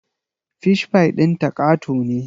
Fish pie ɗinta ƙato ne